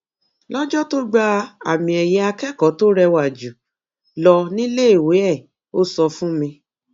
lọjọ tó gba àmiẹyẹ akẹkọọ tó rẹwà jù lọ níléèwé ẹ ó sọ fún mi